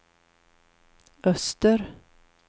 öster